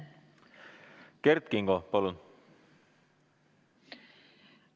Kert Kingo, palun!